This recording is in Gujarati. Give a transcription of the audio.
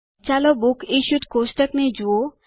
ચાલો બુક્સ ઇશ્યુડ કોષ્ટક ને જુઓ